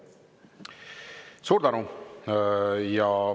Suur tänu!